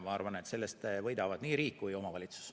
Ma arvan, et sellest võidavad nii riik kui ka omavalitsus.